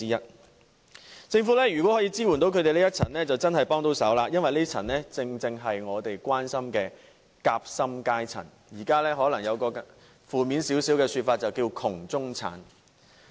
如果政府可以支援這群人士，就真的可以幫上忙了，因為他們正正是我們所關心的夾心階層，而較負面的說法，就是"窮中產"。